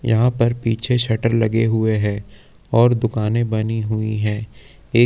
यहाँ पर पीछे शटर लगे हुए हैं और दुकाने बनी हुई है। एक--